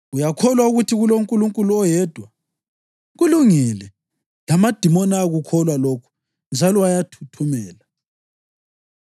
Uyakholwa ukuthi kuloNkulunkulu oyedwa. Kulungile! Lamadimoni ayakukholwa lokhu njalo ayathuthumela.